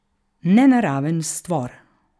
Nenaraven stvor.